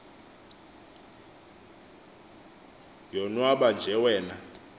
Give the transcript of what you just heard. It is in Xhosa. yonwaba nje wcna